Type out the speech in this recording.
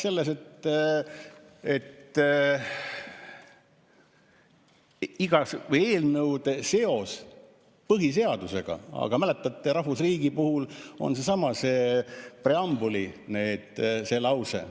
Ta rääkis sellest, et eelnõude seos põhiseadusega, aga mäletate, rahvusriigi puhul on seesama preambuli lause ...